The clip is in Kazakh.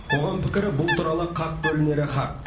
қоғам пікірі бұл туралы қақ бөлінері хақ